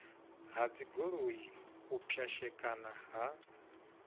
ha dzigoloi u pwashekana ha